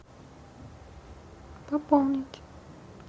пополнить